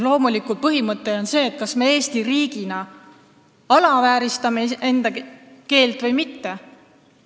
Loomulikult, põhimõte on see, kas me Eesti riigina alavääristame oma keelt või mitte.